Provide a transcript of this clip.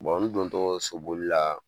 olu dontɔ so boli la